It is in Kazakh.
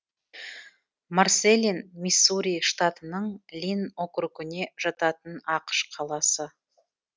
марсэлин миссури штатының линн округіне жататын ақш қаласы